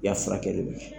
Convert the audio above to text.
I y'a furakɛli bɛ kɛ